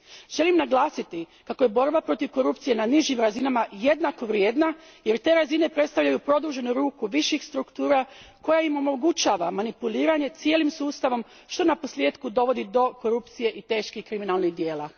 Želim naglasiti kako je borba protiv korupcije na nižim razinama jednakovrijedna jer te razine predstavljaju produženu ruku viših struktura koja im omogućava manipuliranje cijelim sustavom što naposljetku dovodi do korupcije i teških kriminalnih djela.